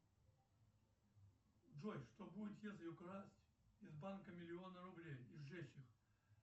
джой что будет если украсть из банка миллионы рублей и сжечь их